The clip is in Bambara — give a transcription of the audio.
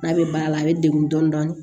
N'a bɛ baara la a bɛ degun dɔɔni